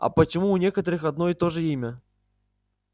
а почему у некоторых одно и то же имя